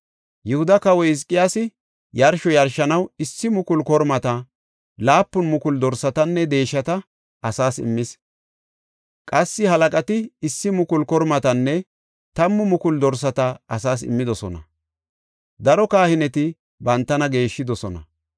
Yihuda kawoy Hizqiyaasi yarsho yarshanaw issi mukulu kormata, laapun mukulu dorsatanne deeshata asaas immis; qassi halaqati issi mukulu kormatanne tammu mukulu dorsata asaas immidosona; daro kahineti bantana geeshshidosona.